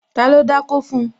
Ta ló dákó fun?